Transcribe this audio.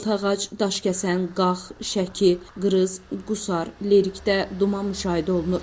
Altıağac, Daşkəsən, Qax, Şəki, Qrız, Qusar, Lerikdə duman müşahidə olunur.